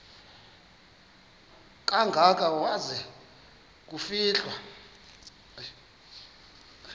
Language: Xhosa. kangaka waza kufihlwa